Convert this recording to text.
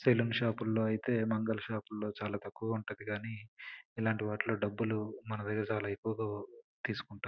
Salon shop అయితే మంగళ shop చాలా తక్కువుగా ఉంటుంది కానీ ఇలాంటి వాటిల్లో మన దగ్గర చాలా ఎక్కువ డబ్బులు తీసుకుంటారు.